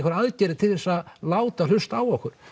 aðgerðir til að láta hlusta á okkur